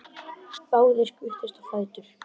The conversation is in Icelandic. Báðir skutust á fætur.